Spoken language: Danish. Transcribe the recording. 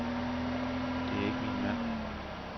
Det er ikke min mand.